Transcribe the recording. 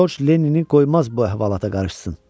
Corc Lennini qoymaz bu əhvalata qarışsın.